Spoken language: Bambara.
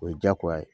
O ye jagoya ye